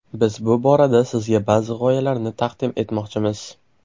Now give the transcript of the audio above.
Biz bu borada sizga ba’zi g‘oyalarni taqdim etmoqchimiz.